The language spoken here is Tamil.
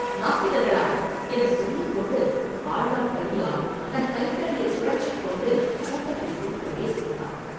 நாஸ்திகர்களா?” என்று சொல்லிக் கொண்டு ஆழ்வார்க்கடியான் தன் கைத் தடியைச் சுழற்றிக் கொண்டு கூட்டத்திற்குள் பிரவேசித்தான்.